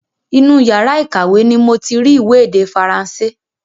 Inú yàrá ìkàwé ni moti rí ìwé èdè Faransé